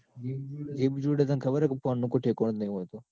જેબી જોડે તન ખબર ને phone નું કોઈજ થેકોનું જ નઈ હોતું.